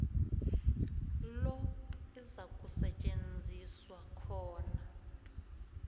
lo izakusetjenziswa khona